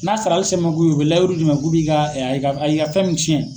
N'a sarali se man k'o ye u bɛ layiru d'i ma k'u b'i ka a y'i ka a y'i ka fɛn min ciyɛn